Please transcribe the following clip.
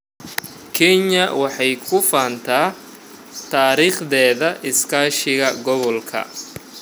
Kenya waxay ku faantaa taariikhdeeda iskaashiga gobolka.